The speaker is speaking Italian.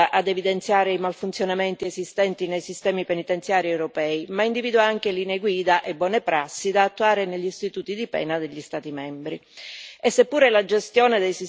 Tuttavia, il testo non si limita ad evidenziare i malfunzionamenti esistenti nei sistemi penitenziari europei, ma individua anche linee guida e buone prassi da attuare negli istituti di pena degli Stati membri.